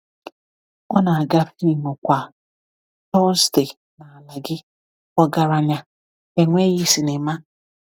Ọ na-aga fim kwa Tọzdee n’ala gị, ọgaranya, enweghị sinima.